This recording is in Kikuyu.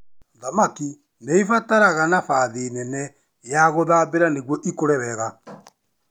Thamaki nĩ ibataraga nabathi nene ya gũthambĩra nĩguo ikũre wega.